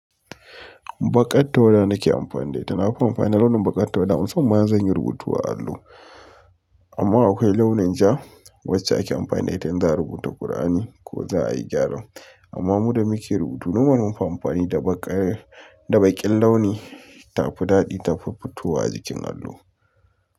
Baƙar tawada nake amfani da ita, nafi amfani da launin baƙar tawada musamman ma in zan yi rubutu a allo. Amma aƙwai launin ja wacce ake amfani da ita in za'a rubuta Kur'ani ko za'a yi gyara. Amma muda muke rubutu normal munfi amfani da baƙar, da baƙin launi. Tafi daɗi tafi fitowa a jikin allo.